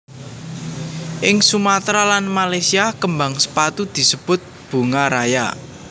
Ing Sumatra lan Malaysia kembang sepatu disebut bunga raya